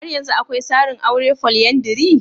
Har yanzu akwai sarin aure folyandry?